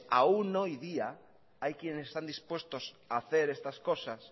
aún hoy día hay quienes están dispuestos a hacer estas cosas